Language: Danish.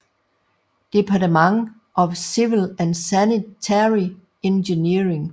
Department of Civil and Sanitary Engineering